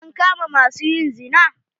An kama ma su yin zina?